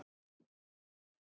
Allir eiga rétt á því.